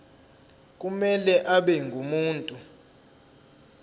kumele abe ngumuntu